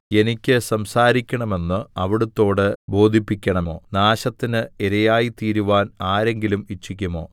എനിക്ക് സംസാരിക്കണം എന്ന് അവിടുത്തോട് ബോധിപ്പിക്കണമോ നാശത്തിന് ഇരയായയിത്തീരുവാൻ ആരെങ്കിലും ഇച്ഛിക്കുമോ